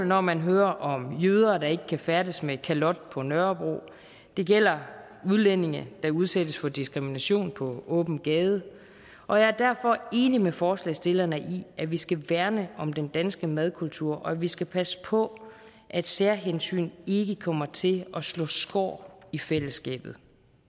når man hører om jøder der ikke kan færdes med kalot på nørrebro og det gælder udlændinge der udsættes for diskrimination på åben gade og jeg er derfor enig med forslagsstillerne i at vi skal værne om den danske madkultur og at vi skal passe på at særhensyn ikke kommer til at slå skår i fællesskabet